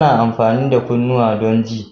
Ana amfani da kunnuwa don ji.